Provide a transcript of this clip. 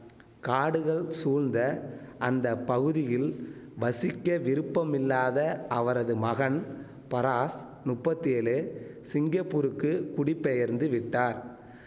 காடுகள் சூழ்ந்த அந்த பகுதியில் வசிக்க விருப்பமில்லாத அவரது மகன் பராஸ் நுப்பத்தி ஏழு சிங்கப்பூருக்கு குடிபெயர்ந்து விட்டார்